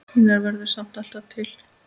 Einar verður samt alltaf til.